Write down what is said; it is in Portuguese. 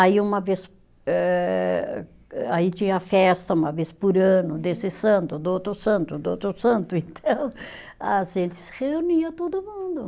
Aí uma vez eh, aí tinha festa uma vez por ano, desse santo, do outro santo, do outro santo, então a gente se reunia todo mundo.